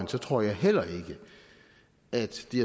tror jeg heller ikke at de